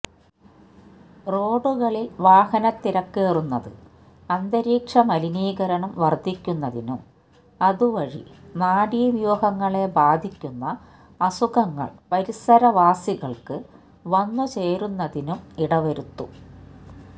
റോഡുകളില് വാഹനത്തിരക്കേറുന്നത് അന്തരീക്ഷമലിനീകരണം വര്ധിക്കുന്നതിനും അതുവഴി നാഡീവ്യൂഹങ്ങളെ ബാധിക്കുന്ന അസുഖങ്ങള് പരിസരവാസികള്ക്ക് വന്നു ചേരുന്നതിനും ഇടവരുത്തും